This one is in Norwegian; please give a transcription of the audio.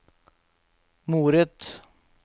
moret